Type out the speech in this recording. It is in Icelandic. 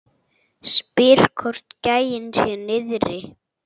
Spyr hvort gæinn sé niðri.